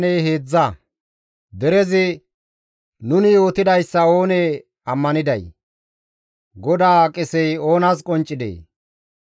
Derezi, «Nuni yootidayssa oonee ammaniday? GODAA qesey oonas qonccidee?